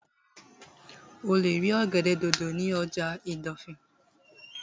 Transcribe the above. O lè rí ọ̀gẹ̀dẹ̀ dòdò ní ọjà ìdọ̀fìn